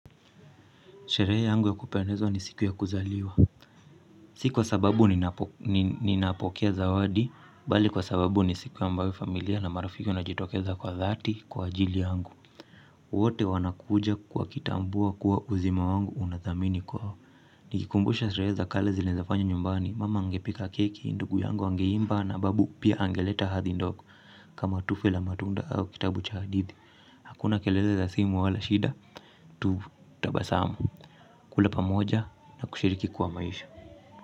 Sherehe yangu ya kupendeza ni siku ya kuzaliwa. Si kwa sababu ninapokea zawadi, bali kwa sababu ni siku ya ambayo familia na marafiki wanajitokeza kwa dhati kwa ajili yangu. Wote wanakuja wakitambua kuwa uzima wangu una thamani kwao. Nikikumbusha sherehe za kale zile nzafanya nyumbani, mama angepika keki, ndugu yangu angeimba na babu pia angeleta hadhi ndoku. Kama tufe la matunda au kitabu cha hadithi. Hakuna kelele za simu wala shida, tutabasamu. Kula pamoja na kushiriki kwa maisha.